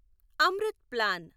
Amrit plan